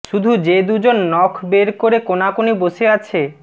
শুধু যে দুজন নখ বের করে কোনাকুনি বসে আছে